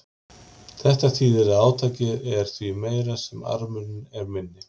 Þetta þýðir að átakið er því meira sem armurinn er minni.